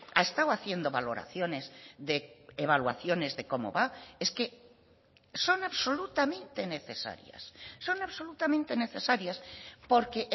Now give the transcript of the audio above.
ha estado haciendo valoraciones de evaluaciones de cómo va es que son absolutamente necesarias son absolutamente necesarias porque